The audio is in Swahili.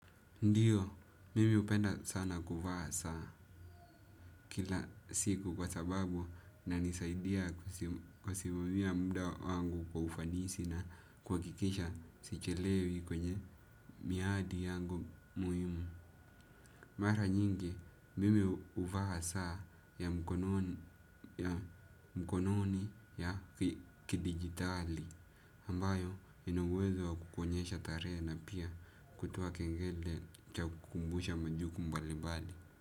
Ndiyo, mimi hupenda sana kuvaa saa kila siku kwa sababu inanisaidia kusimamia muda wangu kwa ufanisi na kwa kuhakikisha sichelewi kwenye miadi yangu muhimu. Mara nyingi, mimi huvaa saa ya mkononi ya kidijitali. Ambayo ina uwezo wa kukuonyesha tarehe na pia kutoa kengele cha kukumbusha majukumu mbalimbali.